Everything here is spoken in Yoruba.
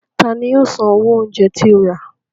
Ta ni yóò san owó oúnjẹ tí o rà?